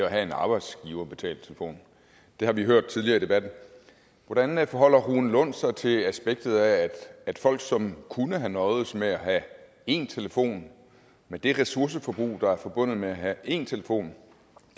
at have en arbejdsgiverbetalt telefon det har vi hørt tidligere i debatten hvordan forholder rune lund sig til det aspekt at at folk som kunne have nøjedes med at have én telefon med det ressourceforbrug der er forbundet med at have én telefon